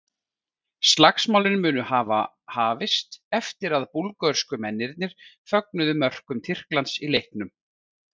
Slagsmálin munu hafa hafist eftir að búlgörsku mennirnir fögnuðu mörkum Tyrklands í leiknum.